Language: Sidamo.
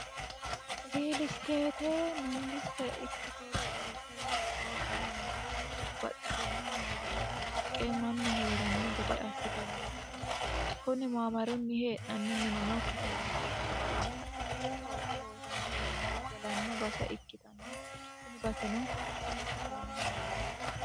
riilisteete mangiste ikkitoo gillesewe minte babbaxxitinno maabara kalaqqe mannu hee'ranno gede assitanno yaate kuni maamarunni hee'nanni minino katamaho babbaxxitinno looso loosanno manni galanno basa ikkitanno tini baseno danchate yine hendanni